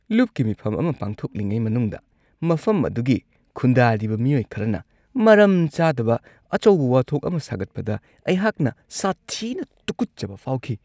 ꯂꯨꯞꯀꯤ ꯃꯤꯐꯝ ꯑꯃ ꯄꯥꯡꯊꯣꯛꯂꯤꯉꯩ ꯃꯅꯨꯡꯗ ꯃꯐꯝ ꯑꯗꯨꯒꯤ ꯈꯨꯟꯗꯥꯔꯤꯕ ꯃꯤꯑꯣꯏ ꯈꯔꯅ ꯃꯔꯝ ꯆꯥꯗꯕ ꯑꯆꯧꯕ ꯋꯥꯊꯣꯛ ꯑꯃ ꯁꯥꯒꯠꯄꯗ ꯑꯩꯍꯥꯛꯅ ꯁꯥꯊꯤꯅ ꯇꯨꯀꯠꯆꯕ ꯐꯥꯎꯈꯤ ꯫